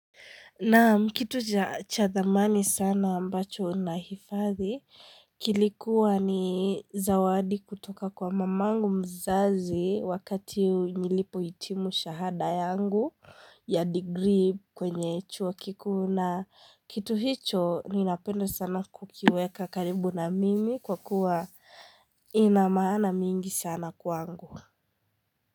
Naam kitu cha thamani sana ambacho nahifadhi kilikuwa ni zawadi kutoka kwa mamangu mzazi wakati nilipoitimu shahada yangu ya digrii kwenye chuo kikuu na kitu hicho ninapenda sana kukiweka karibu na mimi kwa kuwa ina maana mingi sana kwangu.